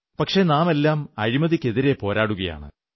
പക്ഷേ നാമെല്ലാം അഴിമതിക്കെതിരെ പോരാടുകയാണ്